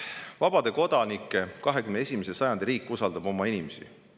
Vabade kodanike 21. sajandi riik usaldab oma inimesi.